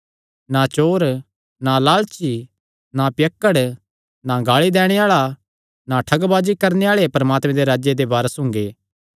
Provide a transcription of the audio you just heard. ना चोर ना लालची ना पियक्कड़ ना गाल़ी दैणे आल़ा ना ठगबाजी करणे आल़े परमात्मे दे राज्जे दे वारस हुंगे